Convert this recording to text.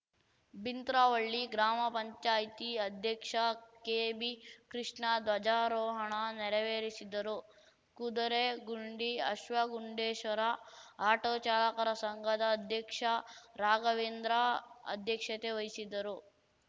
ಬಿಂತ್ರವಳ್ಳಿ ಗ್ರಾಮ ಪಂಚಾಯ್ತಿ ಅಧ್ಯಕ್ಷ ಕೆಬಿಕೃಷ್ಣ ಧ್ವಜಾರೋಹಣ ನೆರವೇರಿಸಿದರು ಕುದುರೆಗುಂಡಿ ಅಶ್ವಗುಂಡೇಶ್ವರ ಆಟೋ ಚಾಲಕರ ಸಂಘದ ಅಧ್ಯಕ್ಷ ರಾಘವೇಂದ್ರ ಅಧ್ಯಕ್ಷತೆ ವಹಿಸಿದ್ದರು